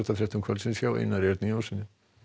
íþróttum kvöldsins hjá Einar Erni Jónssyni